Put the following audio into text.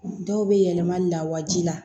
Dɔw bɛ yɛlɛma lawaji la